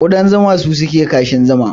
Kudan zuma su suke kashin zuma